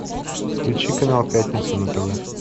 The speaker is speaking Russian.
включи канал пятница на тв